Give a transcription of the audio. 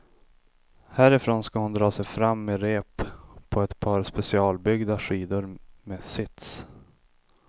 Härifrån ska hon dra sig fram med rep på ett par specialbyggda skidor med sits.